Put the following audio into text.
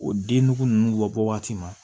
O den nugu ninnu bɔ waati ma